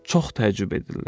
Çox təəccüb edirlər.